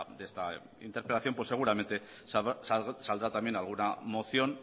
de esta interpelación pues seguramente saldrá también alguna moción